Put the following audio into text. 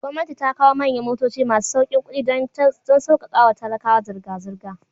Gomnati ta kawo manyan motoci masu saukin kudi, don saukakawa talakawa zirga zirga